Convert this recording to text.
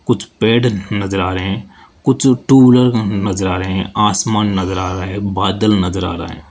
कुछ पेड़ नजर आ रहे हैं कुछ टू व्हीलर ननजर आ रहे हैं आसमान नजर आ रहा है बादल नजर आ रहा है।